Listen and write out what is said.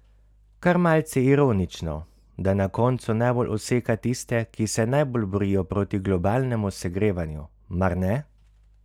Kar malce ironično, da na koncu najbolj useka tiste, ki se najbolj borijo proti globalnemu segrevanju, mar ne?